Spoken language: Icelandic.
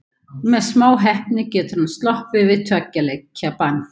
Með smá heppni getur hann sloppið við tveggja leikja bann.